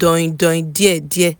dọindọin díẹ̀díẹ̀